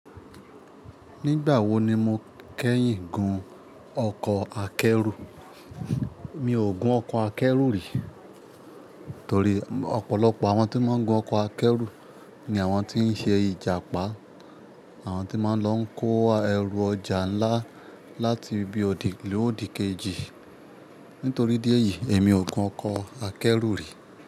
Nígbà wo ni mo kẹ́yìn gun ọkọ̀ akẹ́rù? Mi ò gun ọkọ̀ akẹ́rù rí torí ọ̀pọ̀lọpọ̀ àwọn tí wọ́n ń gun ọkọ̀ akẹ́rù ni àwọn tí ń ṣe ìjàpá, àwọn tí máa ń lọ kó ẹrù ọjà ńlá láti ibi òdì lọ òdì kejì. Nítorí idi e yìí èmi ò gun ọkọ̀ akẹ́rù rí.